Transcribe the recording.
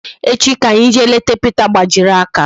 Echi ka anyi jee leta Pita gbajiri aka